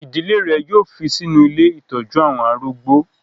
Ìdílé rẹ̀ yóò fi sínú ilé ìtọ́jú àwọn arúgbó.